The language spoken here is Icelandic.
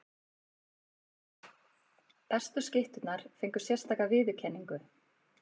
Bestu skytturnar fengu sérstaka viðurkenningu.